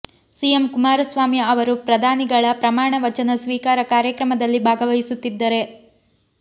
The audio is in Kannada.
ಸಿಎಂ ಕುಮಾರಸ್ವಾಮಿ ಅವರು ಪ್ರಧಾನಿಗಳ ಪ್ರಮಾಣ ವಚನ ಸ್ವೀಕಾರ ಕಾರ್ಯಕ್ರಮದಲ್ಲಿ ಭಾಗವಹಿಸುತ್ತಿದ್ದರೆ